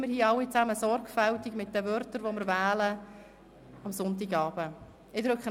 Deshalb seien wir hier alle sorgfältig mit den Wörtern, die wir am Sonntagabend wählen.